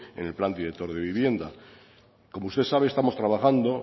en el plan director de vivienda como usted sabe estamos trabajando